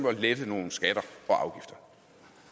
at lette nogle skatter